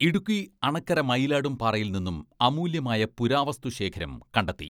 ഇടുക്കി അണക്കര മയിലാടുംപാറയിൽ നിന്നും അമൂല്യമായ പുരാവസ്തുശേഖരം കണ്ടെത്തി.